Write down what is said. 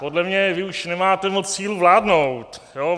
Podle mě vy už nemáte moc sílu vládnout.